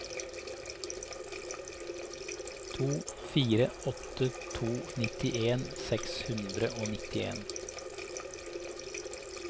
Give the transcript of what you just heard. to fire åtte to nittien seks hundre og nitten